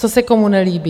Co se komu nelíbí?